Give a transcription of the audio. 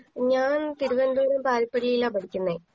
ഞാൻ തിരുവനന്തപുരം പാൽപിരിയിലാ പഠിക്കുന്നെ